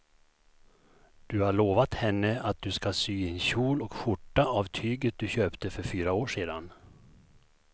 Du har lovat henne att du ska sy en kjol och skjorta av tyget du köpte för fyra år sedan.